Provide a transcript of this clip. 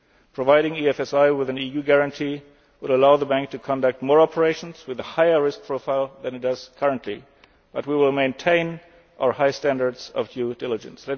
years. Providing EFSI with an EU guarantee will allow the Bank to conduct more operations with a higher risk profile than it does currently, but we will maintain our high standards of due diligence.